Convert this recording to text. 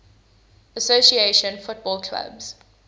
association football clubs